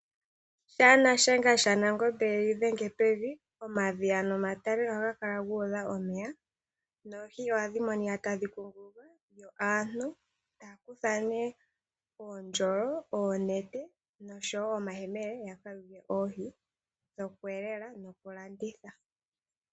Ngele Nashenga shaNangombe yega dhenge pevi omadhiya nomatale ohaga kala guudha omeya noohi ohadhi monika tadhi kunguluka, yo aantu taya kutha uundjolo , oonete noshowoo omayemele yaka yuule oohi dhokweelelela nokulanditha.